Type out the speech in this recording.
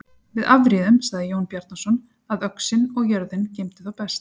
Við afréðum, sagði Jón Bjarnason,-að öxin og jörðin geymdu þá best.